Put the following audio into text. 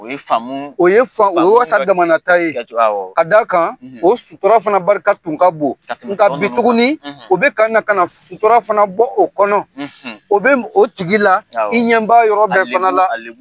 O ye faamu; O ye O ya ka daman ta ye; Awɔ; K'a dakan; O sutura fana barika tun ka bon; Ka tɛmɛ Nka bi tuguni; O bɛ kana kana sutura fana bɔ o kɔnɔ; O bɛ o tigi la; Awɔ; I ɲɛba yɔrɔ bɛɛ fana la; A lebu a